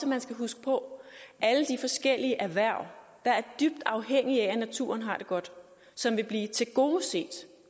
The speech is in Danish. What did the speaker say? man skal huske på alle de forskellige erhverv der er dybt afhængige af at naturen har det godt som vil blive tilgodeset